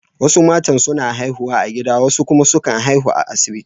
Wasu matan suna haihuwa a gida wasu kuma sukan haihu a asibiti.